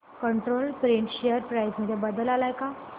control print share price मध्ये बदल आलाय का